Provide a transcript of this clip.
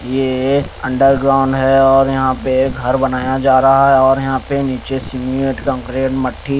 ये अंडरग्राउंड है और यहां पे घर बनाया जा रहा है और यहां पे नीचे सीमेंट कॉन्क्रीट मट्ठी--